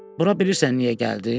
Bura bilirsən niyə gəldim?